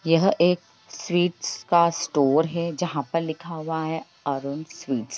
यह एक स्वीट्स का स्टोर है जहाँ पर लिखा हुआ है अरुण स्वीट्स ।